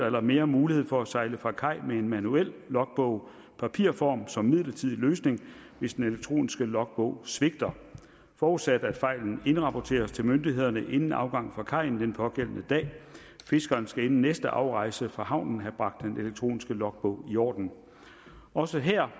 eller mere mulighed for at sejle fra kaj med en manuel logbog i papirform som en midlertidig løsning hvis den elektroniske logbog svigter forudsat at fejlen indrapporteres til myndighederne inden afgang fra kajen den pågældende dag fiskeren skal inden næste afrejse fra havnen have bragt den elektroniske logbog i orden også her